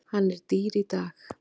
Hann er dýr í dag.